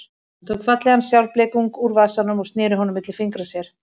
Hann tók fallegan sjálfblekung úr vasanum og sneri honum milli fingra sér.